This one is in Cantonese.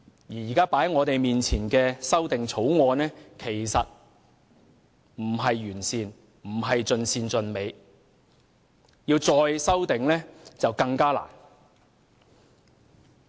現時放在我們面前的《條例草案》並不完善，亦非盡善盡美，日後要再修訂將更加困難。